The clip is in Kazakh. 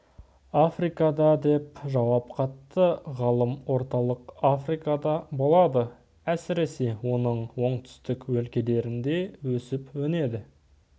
африкада деп жауап қатты ғалым орталық африкада болады әсіресе оның оңтүстік өлкелерінде өсіп-өнеді